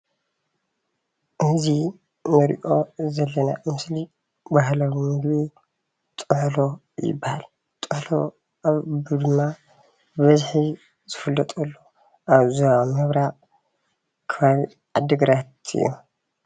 እዚ እንሪኦ ዘለና ምስሊ ባህላዊ ምግቢ ጥሕሎ ይበሃል። ጥሕሎ ድማ ብበዝሒ ዝፍለጠሉ ኣብ ዞባ ምብራቅ ከባቢ ዓዲግራት እዩ።